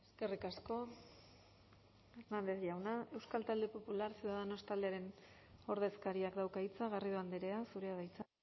eskerrik asko hernández jauna euskal talde popular ciudadanos taldearen ordezkariak dauka hitza garrido andrea zurea da hitza